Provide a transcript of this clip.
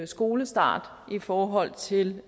skolestart i forhold til